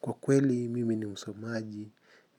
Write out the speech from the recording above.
Kwa kweli mimi ni msomaji